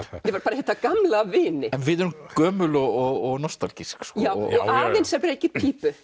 hitta gamla vini en við erum gömul og nostalgísk og afinn sem reykir pípu